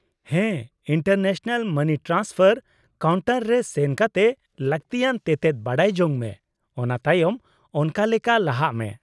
-ᱦᱮᱸ, international money transfer counter ᱨᱮ ᱥᱮᱱ ᱠᱟᱛᱮ ᱞᱟᱹᱠᱛᱤᱭᱟᱱ ᱛᱮᱛᱮᱫ ᱵᱟᱰᱟᱭ ᱡᱚᱝ ᱢᱮ, ᱚᱱᱟ ᱛᱟᱭᱚᱢ ᱚᱱᱠᱟ ᱞᱮᱠᱟ ᱞᱟᱦᱟᱜ ᱢᱮ ᱾